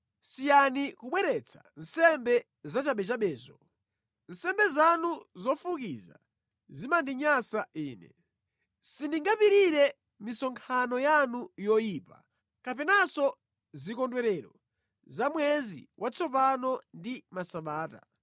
Siyani kubweretsa nsembe zachabechabezo! Nsembe zanu zofukiza zimandinyansa Ine. Sindingapirire misonkhano yanu yoyipa, kapenanso zikondwerero za Mwezi Watsopano ndi Masabata.